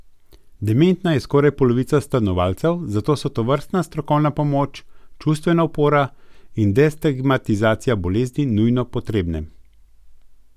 Dementna je skoraj polovica stanovalcev, zato so tovrstna strokovna pomoč, čustvena opora in destigmatizacija bolezni nujno potrebne.